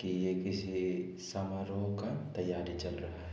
कि ये किसी समारोह का तैयारी चल रहा है।